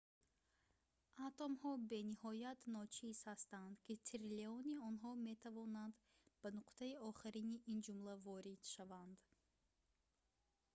атомҳо бениҳоят ночиз ҳастанд ки триллиони онҳо метавонанд ба нуқтаи охирини ин ҷумла ворид шаванд